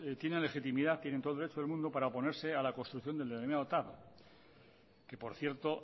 tienen la legitimidad tienen todo el derecho del mundo para oponerse a la construcción del denominado tav que por cierto